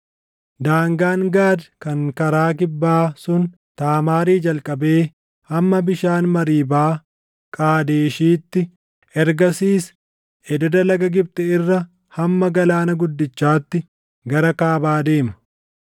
Daangaan Gaad kan karaa kibbaa sun Taamaarii jalqabee hamma bishaan Mariibaa Qaadeshiitti, ergasiis ededa Laga Gibxi irra hamma Galaana Guddichaatti gara Kaabaa deema.